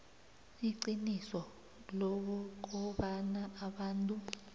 iqiniso lokobana abantu